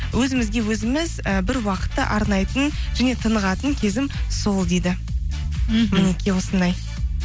өзімізге өзіміз і бір уақытты арнайтын және тынығатын кезім сол дейді мхм мінекей осындай